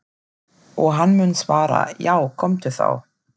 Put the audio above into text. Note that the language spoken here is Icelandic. Og hann mun svara:- Já komdu þá.